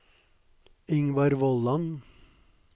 Ingvar Vollan